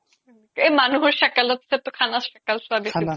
এ মানুহৰ চাকালত চে তো খানাৰ চাকাল চোৱা